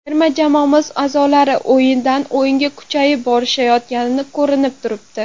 Terma jamoamiz a’zolari o‘yindan o‘yinga kuchayib borishayotgani ko‘rinib turibdi.